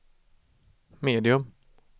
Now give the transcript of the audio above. medium